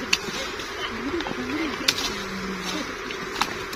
Umri, umri, sem molila.